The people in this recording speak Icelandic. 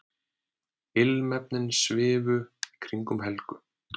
Ilmefnin svifu í kringum Helgu.